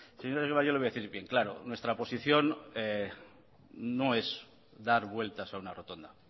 señor egibar yo le voy a decir bien claro nuestra posición no es dar vueltas a una rotonda